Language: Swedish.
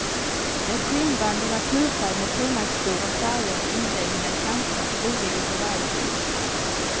Det är skinnband i naturfärg med frimärksstora färgade inläggningar i kanterna, olika för varje bok.